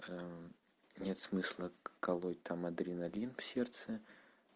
нет смысла колоть там адреналин в сердце